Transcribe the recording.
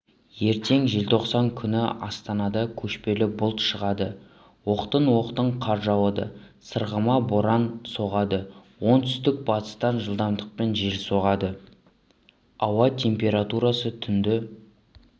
ертең желтоқсан күні астанада көшпелі бұлт шығады оқтын-оқтын қар жауады сырғыма боран соғады оңтүстік-батыстан жылдамдықпен жел соғады ауа температурасы түнді